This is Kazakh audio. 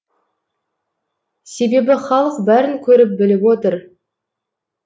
себебі халық бәрін көріп біліп отыр